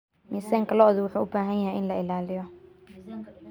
Miisaanka lo'da wuxuu u baahan yahay in la ilaaliyo.